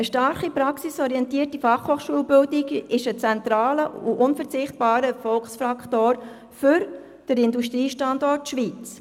Eine stark praxisorientierte FH-Bildung ist ein zentraler und unverzichtbarer Erfolgsfaktor für den Industriestandort Schweiz.